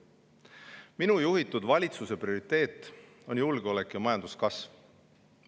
Minu juhitud valitsuse prioriteedid on julgeolek ja majanduskasv.